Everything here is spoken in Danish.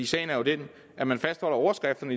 sagen er jo den at man fastholder overskrifterne